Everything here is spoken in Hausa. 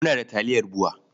Muna da taliyar BUA.